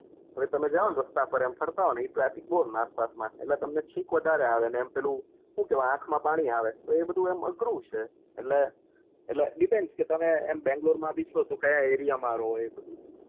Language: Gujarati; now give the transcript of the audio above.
તોયે તમે જાઆવે વ રસ્તા પર આમ ફરતા હોય એ ક્લસિક બહુ નાક પાસ માટે એટલે તમને ચ્ચીચ વધારે આવે ને એમ પેલું શું કેહવાય આંખ માં પાણી તો એ બધું અઘરું છે એટલે ડીપેન્દ તો તમે બેંગ્લોર માં ભી છો તમે કયા આરિયા માં છો